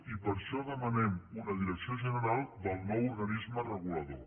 i per això demanem una direcció general del nou organisme regulador